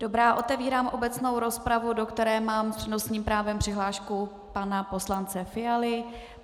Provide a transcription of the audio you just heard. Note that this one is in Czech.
Dobrá, otevírám obecnou rozpravu, do které mám s přednostním právem přihlášku pana poslance Fialy.